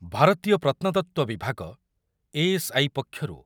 ଭାରତୀୟ ପ୍ରତ୍ନତତ୍ତ୍ୱ ବିଭାଗ ଏ ଏସ୍ ଆଇ ପକ୍ଷରୁ